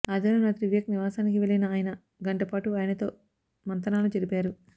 ఆదివారం రాత్రి వివేక్ నివాసానికి వెళ్లిన ఆయన గంటపాటు ఆయనతో మంతనాలు జరిపారు